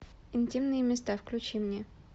интимные места включи мне